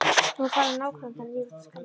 Nú fara nágrannarnir að rífast og skammast.